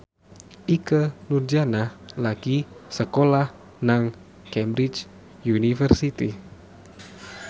Ikke Nurjanah lagi sekolah nang Cambridge University